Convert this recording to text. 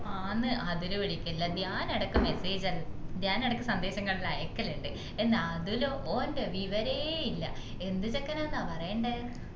ആന്നു അതുല് വിളിക്കലില്ല ഞാൻ ഇടക്ക് message ഞാൻ ഇടക്ക് സന്ദേശങ്ങൾ അയക്കലിൻഡ് എന്ന അതുലോ ഓൻ്റെ വിവരേ ഇല്ല എന്ത് ചെക്കനാ ന്ന പറയണ്ടേ